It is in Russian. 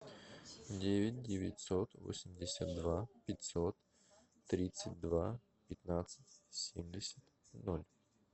девять девятьсот восемьдесят два пятьсот тридцать два пятнадцать семьдесят ноль